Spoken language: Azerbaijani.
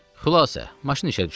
Xülasə, maşın işə düşdü.